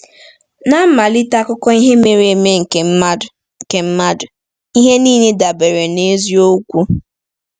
N’mmalite akụkọ ihe mere eme nke mmadụ, nke mmadụ, ihe niile dabere na eziokwu.